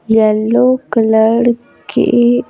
yellow colour के--